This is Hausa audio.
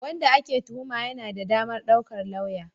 Wanda ake tuhuma yana da damar daukar lauya.